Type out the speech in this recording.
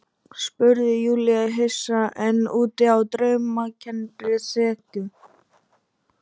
spurði Júlía hissa, enn úti á draumkenndri þekju.